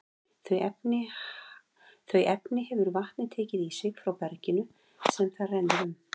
Þau efni hefur vatnið tekið í sig frá berginu sem það rennur um.